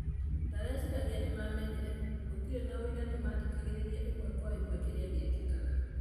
Ndirecirĩa nimamenyire. Gũtirĩ na ũira nĩmathĩkagĩrĩria ĩmwe Kwa ĩmwe kĩrĩa gĩekĩkaga.